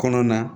Kɔnɔ na